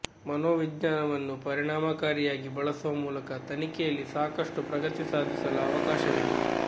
ಮನೋವಿಜ್ಞಾನವನ್ನು ಪರಿಣಾಮಕಾರಿಯಾಗಿ ಬಳಸುವ ಮೂಲಕ ತನಿಖೆಯಲ್ಲಿ ಸಾಕಷ್ಟು ಪ್ರಗತಿ ಸಾಧಿಸಲು ಅವಕಾಶವಿದೆ